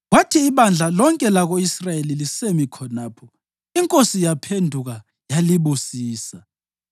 Kwathi ibandla lonke lako-Israyeli lisemi khonapho, inkosi yaphenduka yalibusisa.